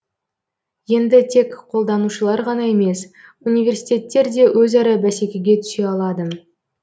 енді тек қолданушылар ғана емес университеттер де өзара бәсекеге түсе алады